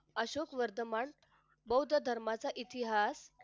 अशोक वर्तमान बौद्ध धर्माचा इतिहास